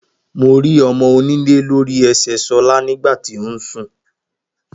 Mo rí ọmọ onílé lori ẹsẹ sola nígbàtí ósùn.